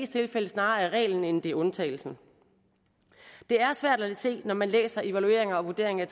tilfælde snarere er reglen end det er undtagelsen det er svært at se når man læser evalueringer og vurderinger